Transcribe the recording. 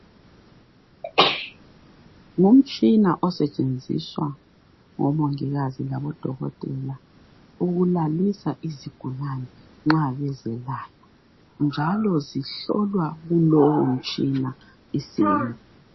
Ngumtshina osetshenziswa ngomongikazi labodokotela ukulalisa isigulani nxa bezelapha njalo zihlolwa kulowo mtshina.